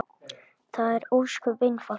Það er ósköp einfalt mál.